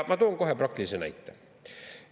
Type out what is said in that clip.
Ma toon kohe praktilise näite.